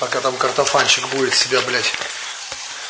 пока там картофанчик будет себя блять